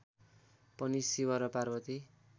पनि शिव र पार्वती